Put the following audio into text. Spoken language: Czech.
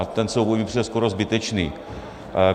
A ten souboj mi přijde skoro zbytečný.